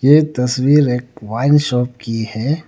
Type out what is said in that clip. ये तस्वीर एक वाइन शॉप की है।